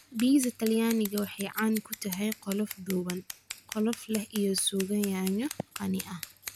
Biisa Talyaanigu waxa ay caan ku tahay qolof dhuuban, qolof leh iyo suugo yaanyo qani ah.